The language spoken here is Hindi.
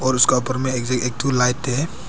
और उसका ऊपर में एक ठो लाइट है।